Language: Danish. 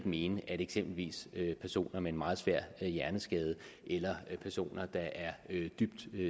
mene at eksempelvis personer med en meget svær hjerneskade eller personer der er dybt